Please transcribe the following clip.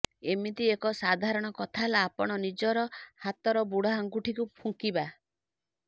ଏମିତି ଏକ ସାଧାରଣ କଥା ହେଲା ଆପଣ ନିଜର ହାତର ବୁଢା ଆଙ୍ଗୁଠିକୁ ଫୁଙ୍କିବା